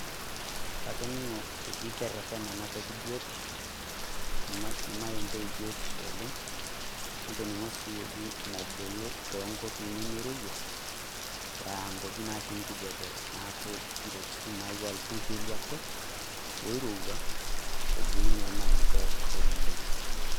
Katoning'o eji kereteny ena toki biotisho, ilmaembe biotisho oleng, natoning'o sii eji mebulu tonkop nemeirorua, aa nkuapi natii enkijape neaku wejitin naa ilpurkeli ake oirorua, ebulunye ilmaembe oleng.